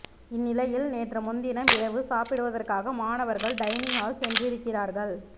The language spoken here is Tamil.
இந்நிலையில் நேற்றுமுன்தினம் இரவு சாப்பிடுவதற்காக மாணவர்கள் டைனிங் ஹால் சென்றிருக்கிறார்கள்